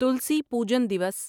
تلسی Pujan دیوس